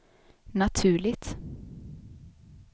naturligt